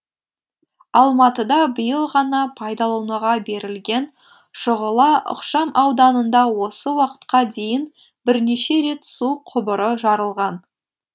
алматыда биыл ғана пайдалануға берілген шұғыла ықшам ауданында осы уақытқа дейін бірнеше рет су құбыры жарылған